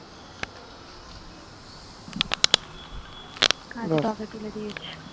তুলে দিয়েছি